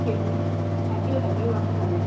ভাইটি, ভাইটি ও আছে ভালে ।